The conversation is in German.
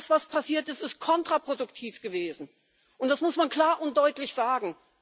Das, was passiert ist, ist kontraproduktiv gewesen, und das muss man klar und deutlich sagen!